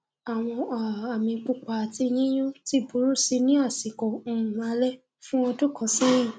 àwọn um àmì pupa ati yíyún ti burú si ní àsìkò um alẹ fún ọdún kan sẹyìn